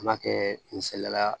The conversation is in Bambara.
An b'a kɛ misaliyala